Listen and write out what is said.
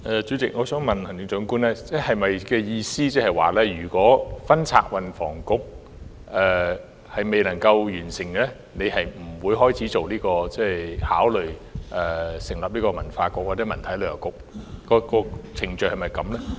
主席，我想問行政長官，她的意思是否指，如果分拆運房局的工作未能完成，她便不會考慮成立文化局或文體旅遊局。